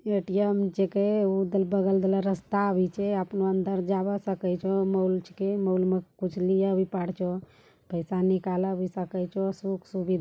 ए.टी.एम. जीके है उके बगल रास्ता भी छे आपनो अंदर जावा सको छे मॉल चे मॉल से कुछ लिया भी पारचो पैसा निकाला भी सको सुख-सुविधा --